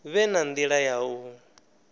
vhe na nila ya u